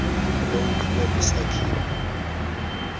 lo uphume kwisakhiwo